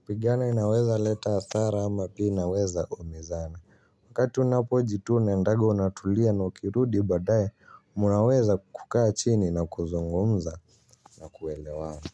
kupigana inaweza leta hsara ama pia inaweza umizana waakati unapo jitune unaendaga unatulia na ukirudi baadae munaweza kukaa chini na kuzngumza na kuelewana.